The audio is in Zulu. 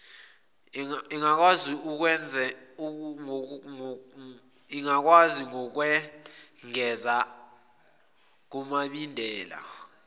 ingakwazi ngokwengeza kumibandela